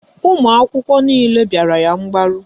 Ụmụakwụkwọ niile bịara ya mgbaru